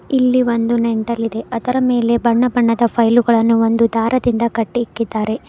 ಇಲ್ಲಿ ಒಂದು ನೆಂಡಲ್ಲಿದೆ ಅದರ ಮೇಲೆ ಬಣ್ಣ ಬಣ್ಣದ ಫೈಲ್ಗಳನ್ನು ಒಂದು ದಾರದಿಂದ ಕಟ್ಟಿ ಇಟ್ಟಿದ್ದಾರೆ.